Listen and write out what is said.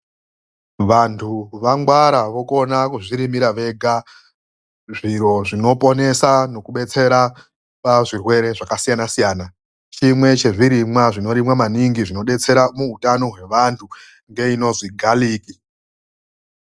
Vantu vangwara vokona kuzvirimira vega zviro zvinoponesa nekubetsera pazvirwere zvakasiyanasiyana. Chimwe chezvirimwa zvinorimwa maningi zvinodetsera muutano hwevanhu ngeinozwi galiki .